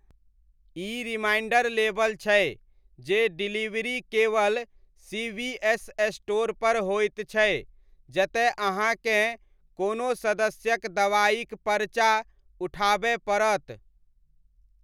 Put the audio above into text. इ reminder label छै जे डिलीवरी केवल सीवीएस स्टोरपर होइत छै जतय अहाँकेँ कोनो सदस्यक दवाइक परचा उठाबय पड़त।